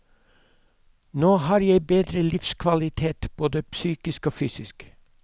Nå har jeg bedre livskvalitet, både psykisk og fysisk.